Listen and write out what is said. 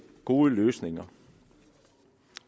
gode løsninger